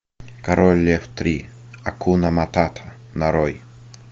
король лев три акуна матата нарой